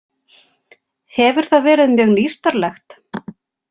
Hefur það verið mjög nýstárlegt?